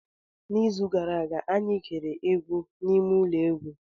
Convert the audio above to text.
N'izu gara aga, anyị gere egwu n'ime ụlọ egwu.